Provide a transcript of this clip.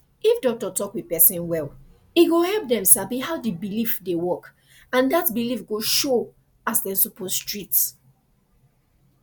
if doctor talk with person well e go help dem sabi how the belief dey work and that belief go showas dem suppose treat